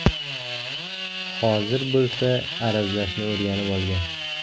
Hozir bo‘lsa, arazlashni o‘rganib olgan.